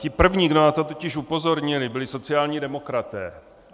Ti první, kdo na to totiž upozornili, byli sociální demokraté.